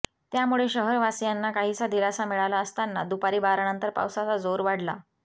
त्यामुळे शहरवासियांना काहीसा दिलासा मिळाला असताना दुपारी बारानंतर पावसाचा जोर वाढला